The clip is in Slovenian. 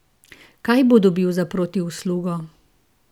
Kaj bo dobil za protiuslugo?